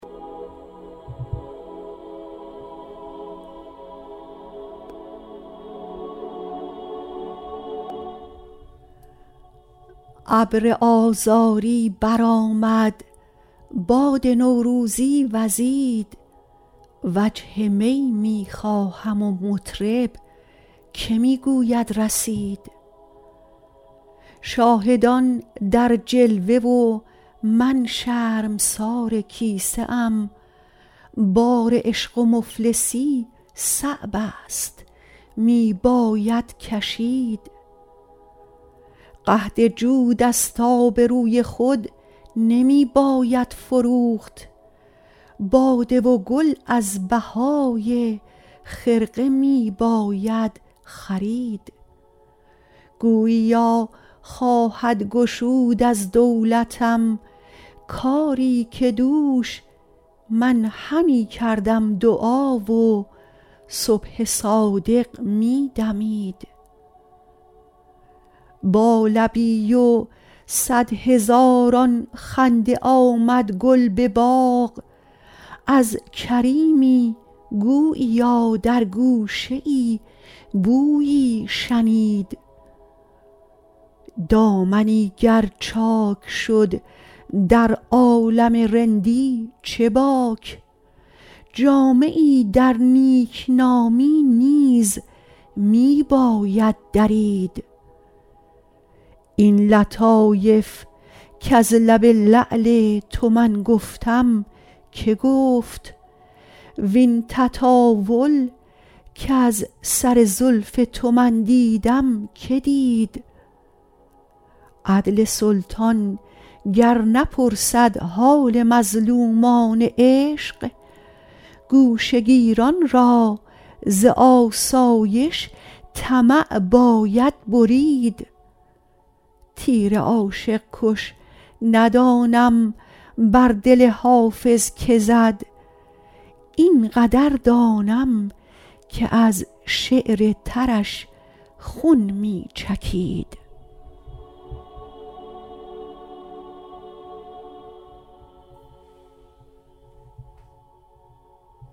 ابر آذاری برآمد باد نوروزی وزید وجه می می خواهم و مطرب که می گوید رسید شاهدان در جلوه و من شرمسار کیسه ام بار عشق و مفلسی صعب است می باید کشید قحط جود است آبروی خود نمی باید فروخت باده و گل از بهای خرقه می باید خرید گوییا خواهد گشود از دولتم کاری که دوش من همی کردم دعا و صبح صادق می دمید با لبی و صد هزاران خنده آمد گل به باغ از کریمی گوییا در گوشه ای بویی شنید دامنی گر چاک شد در عالم رندی چه باک جامه ای در نیکنامی نیز می باید درید این لطایف کز لب لعل تو من گفتم که گفت وین تطاول کز سر زلف تو من دیدم که دید عدل سلطان گر نپرسد حال مظلومان عشق گوشه گیران را ز آسایش طمع باید برید تیر عاشق کش ندانم بر دل حافظ که زد این قدر دانم که از شعر ترش خون می چکید